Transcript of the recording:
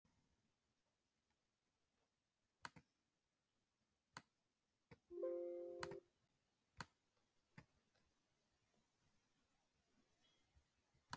Æ hve tilgangur lífsins er fjarri þegar ég er svipt faðmlaginu þínu.